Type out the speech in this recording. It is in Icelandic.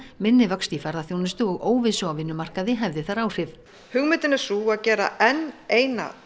minni vöxt í ferðaþjónustu og óvissu á vinnumarkaði hefði þar áhrif hugmyndin er sú að gera enn eina